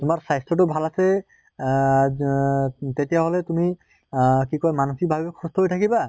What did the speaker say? তোমাৰ স্বাস্থ্য়টো ভাল আছে আহ যহ তেতিয়া হʼলে তুমি আহ কি কয় মানসিক ভাবেও সুস্থ হৈ থাকিবা